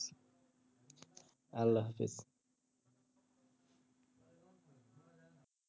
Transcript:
আল্লা হাফিস।